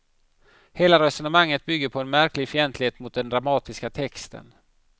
Hela resonemanget bygger på en märklig fientlighet mot den dramatiska texten.